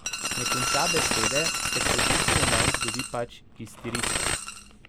Ne konča besede, ker se tisti moment zgodi pač iztiritev.